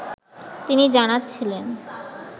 তিনি জানাচ্ছিলেন